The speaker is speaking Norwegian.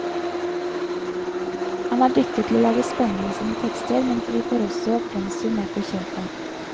Han er dyktig til å lage spenning i sine tekster, men vi får også pensum med på kjøpet.